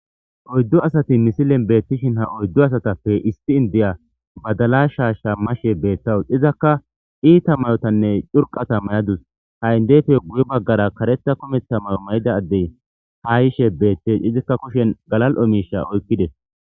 Oyddu asati misilen betishin oyddu asatape issi indiya badala shasha mashe betayisu izaka iita mayotane curiqata mayadus ha indefe guye baggara kareta kumetta mayo mayida ade ha yishe bettes izika kushen galali'o misha oyqides.